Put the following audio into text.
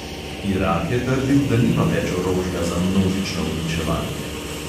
Irak je trdil, da nima več orožja za množično uničevanje.